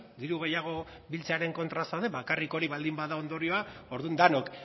diru gehiago biltzearen kontra zaude bakarrik hori baldin bada ondorioa orduan denok